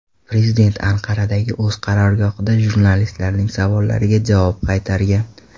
Prezident Anqaradagi o‘z qarorgohida jurnalistlarning savollariga javob qaytargan.